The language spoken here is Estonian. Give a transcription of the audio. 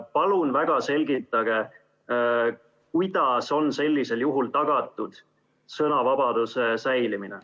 Palun selgitage, kuidas on sellisel juhul tagatud sõnavabaduse säilimine.